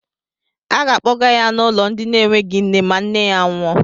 Aga akpọga ya n'ụlọ ndị na-enweghi nne ma nne ya nwụọ.